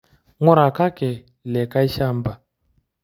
Ng'urakaki likae shamba.